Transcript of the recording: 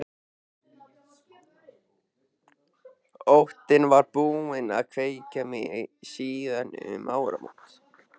Óttinn var búinn að kvelja mig síðan um áramót.